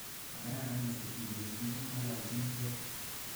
Makararan metit ni ketindet ngololchinikei